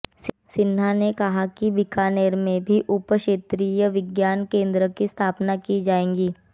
सिन्हा ने कहा कि बीकानेर में भी उप क्षेत्रीय विज्ञान केन्द्र की स्थापना की जाएंगी